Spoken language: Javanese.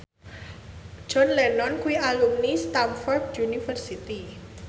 John Lennon kuwi alumni Stamford University